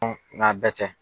nk'a bɛɛ tɛ.